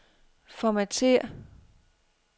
Formatér.